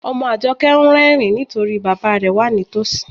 Ọmọ Ajọkẹ̀ n rẹrìǹ nítorí bàbá rẹ̀ wà nítósí.